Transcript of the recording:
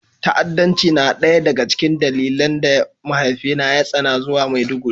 Ta'addanci na ɗaya daga cikin dalilan da mahaifina ya tsani zuwa Maiduguri